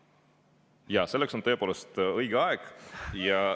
Jaa, selleks on tõepoolest õige aeg.